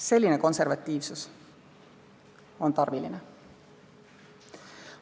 Selline konservatiivsus on tarviline.